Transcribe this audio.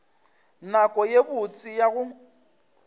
nako ye botse ya go